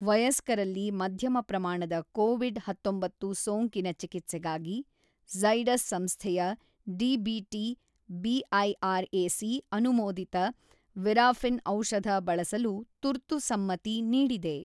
ವಯಸ್ಕರಲ್ಲಿ ಮಧ್ಯಮ ಪ್ರಮಾಣದ ಕೋವಿಡ್ ಹತೊಂಬತ್ತು ಸೋಂಕಿನ ಚಿಕಿತ್ಸೆಗಾಗಿ ಝೈಡಸ್ ಸಂಸ್ಥೆಯ ಡಿಬಿಟಿ ಬಿಐಆರ್ಎಸಿ ಅನುಮೋದಿತ ವಿರಾಫಿನ್ ಔಷಧ ಬಳಸಲು ತುರ್ತು ಸಮ್ಮತಿ ನೀಡಿದೆ